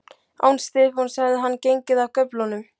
Án Stefáns hefði hann gengið af göflunum.